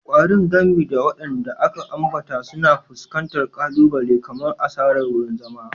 Ƙwarin, gami da waɗanda aka ambata, suna fuskantar ƙalubale kamar asarar wurin zama.